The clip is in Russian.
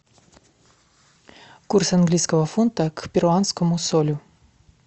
курс английского фунта к перуанскому солю